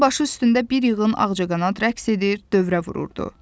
Onun başı üstündə bir yığın ağcaqanad rəqs edir, dövrə vururdu.